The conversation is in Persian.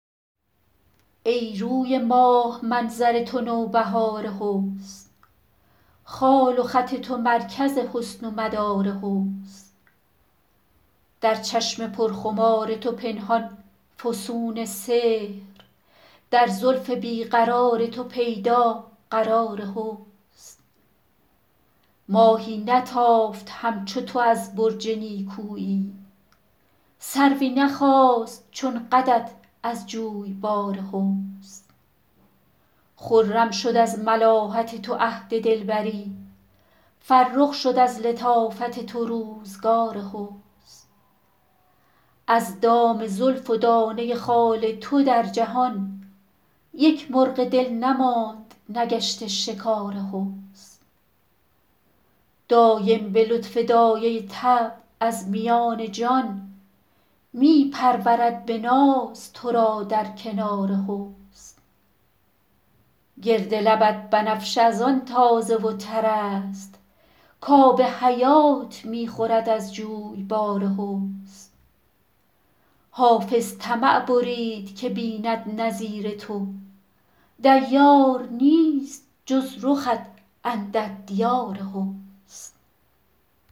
ای روی ماه منظر تو نوبهار حسن خال و خط تو مرکز حسن و مدار حسن در چشم پرخمار تو پنهان فسون سحر در زلف بی قرار تو پیدا قرار حسن ماهی نتافت همچو تو از برج نیکویی سروی نخاست چون قدت از جویبار حسن خرم شد از ملاحت تو عهد دلبری فرخ شد از لطافت تو روزگار حسن از دام زلف و دانه خال تو در جهان یک مرغ دل نماند نگشته شکار حسن دایم به لطف دایه طبع از میان جان می پرورد به ناز تو را در کنار حسن گرد لبت بنفشه از آن تازه و تر است کآب حیات می خورد از جویبار حسن حافظ طمع برید که بیند نظیر تو دیار نیست جز رخت اندر دیار حسن